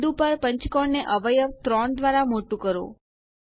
બિંદુ પર પંચકોણ ને અવયવ ૩ દ્વારા મોટું કરો